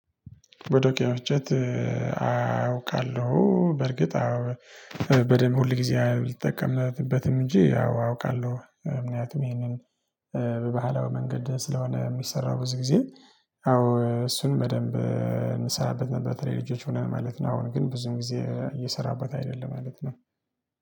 በዶቄ መፍጨት። አውቃለሁ በርግጥ አዎ በደንብ ሁል ጊዜ አይጠቀምንበትም። እንጂ አዎ አውቃለሁ ምክንያቱም ይሄንን በባህላዊ መንገድ ስለሆነ ሚሰራው ብዙ ጊዜ። አዎ እሱን በደንብ እምሰራበት ነበር። በተለይ ልጆች ሆነን ማለት ነው። አሁን ግን ብዙ ጊዜ እየሰራበት አይደለም ማለት ነው